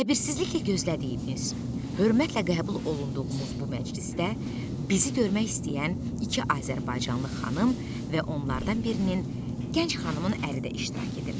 Səbirsizliklə gözlədiyimiz, hörmətlə qəbul olunduğumuz bu məclisdə bizi görmək istəyən iki azərbaycanlı xanım və onlardan birinin gənc xanımının əri də iştirak edirdi.